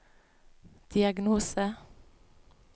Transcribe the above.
diagnose